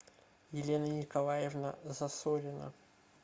елена николаевна засорина